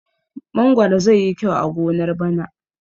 Mangwaro zai yi kyau a gonar bana.